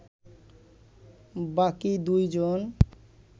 বাকি দুইজন